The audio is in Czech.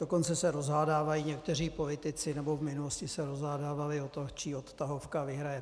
Dokonce se rozhádávají někteří politici, nebo v minulosti se rozhádávali o to, čí odtahovka vyhraje.